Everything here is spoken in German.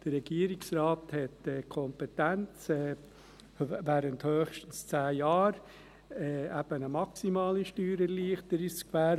Der Regierungsrat hat die Kompetenz, während höchstens 10 Jahren eine maximale Steuererleichterung zu gewähren.